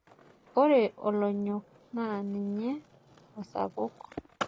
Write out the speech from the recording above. Ore olonyok naa ninye osampuk.